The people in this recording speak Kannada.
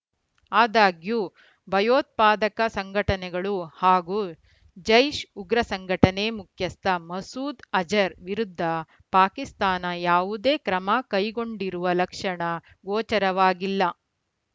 ಆದಾಗ್ಯೂ ಭಯೋತ್ಪಾದಕ ಸಂಘಟನೆಗಳು ಹಾಗೂ ಜೈಷ್‌ ಉಗ್ರ ಸಂಘಟನೆ ಮುಖ್ಯಸ್ಥ ಮಸೂದ್‌ ಅಜರ್‌ ವಿರುದ್ಧ ಪಾಕಿಸ್ತಾನ ಯಾವುದೇ ಕ್ರಮ ಕೈಗೊಂಡಿರುವ ಲಕ್ಷಣ ಗೋಚರವಾಗಿಲ್ಲ